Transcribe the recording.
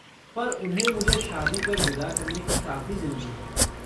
पर उन्हें मुझे शादी कर विदा करने की काफ़ी जल्दी है।